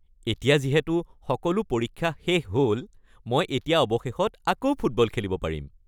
এতিয়া যিহেতু সকলো পৰীক্ষা শেষ হ’ল মই এতিয়া অৱশেষত আকৌ ফুটবল খেলিব পাৰিম।